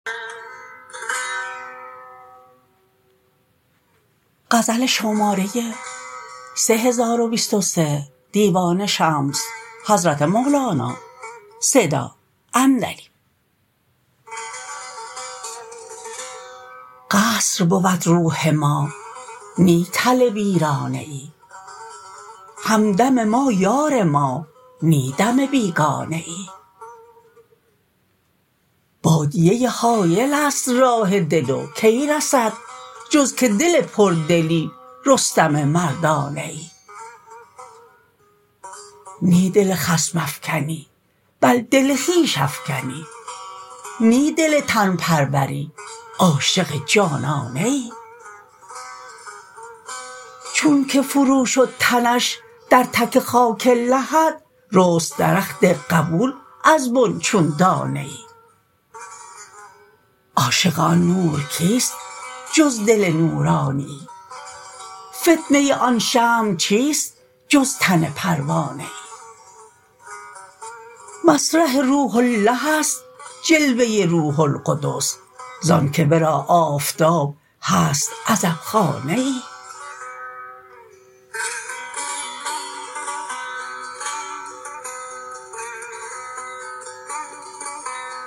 قصر بود روح ما نی تل ویرانه ای همدم ما یار ما نی دم بیگانه ای بادیه ای هایلست راه دل و کی رسد جز که دل پردلی رستم مردانه ای نی دل خصم افکنی بل دل خویش افکنی نی دل تن پروری عاشق جانانه ای چونک فروشد تنش در تک خاک لحد رست درخت قبول از بن چون دانه ای عاشق آن نور کیست جز دل نورانیی فتنه آن شمع چیست جز تن پروانه ای مسرح روح الله است جلوه روح القدس زانک ورا آفتاب هست عزبخانه ای